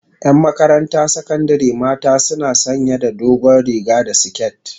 yan Makaranta sakandari mata suna sanya da dogon riga da siket